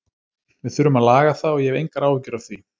Við þurfum að laga það og ég hef engar áhyggjur af því.